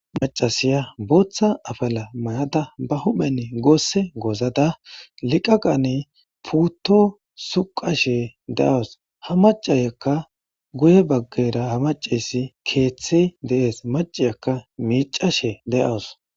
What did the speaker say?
macasiya booththa afala mayada ba huphen goosse goozada liqaqan puutto suqashe de7awus ha macayakka guye baggera ha macessi keeththe deees maciyakka miicashe de7awus